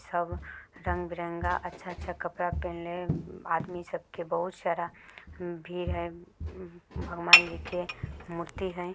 सब रंग बिरंगा अच्छा अच्छा कपड़ा पहीनले आदमी सबके बहुत सारा भीड़ है भगवान जी के मूर्ति है।